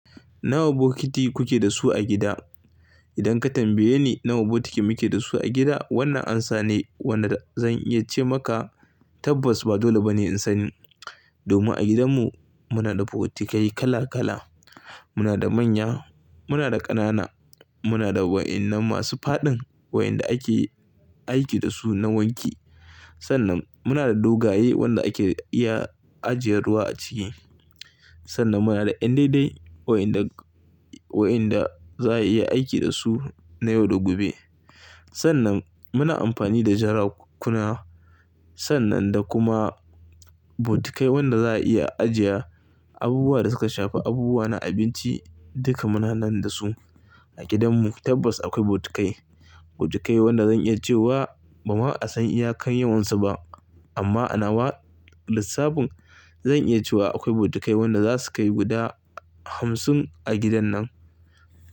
Nawa bokiti kuke da su a gida? Idan ka tambaye ni nawa botiki muke da su a gida, wannan amsa ne wanda zan iya ce maka tabbas ba dole ba ne in sani. Domin a gidanmu muna da botikai kala kala. Muna da manya, muna da ƙanana, muna da wa'innan masu faɗin wa'inda ake aiki da su na wanki. Sannan muna da dogaye wanda ake iya ajiye ruwa a ciki. Sannan muna da yan dai dai wa'yanda, wa'anda za a iya aiki da su na yau da gobe. Sannan muna amfani da jarakuna. Sannan da kuma botikai wanda za a iya ajiye abubuwa da suka shafi abubuwa na abinci. Duka muna nan da su a gidanmu. Tabbas akwai botikai, botikai wanda zan iya cewa ba ma asan iya kan yawansu ba. Amma a nawa, lissafin zan iya cewa akwai botikai wanda za su kai guda hamsin a gidan nan.